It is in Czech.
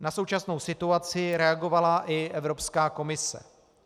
Na současnou situaci reagovala i Evropská komise.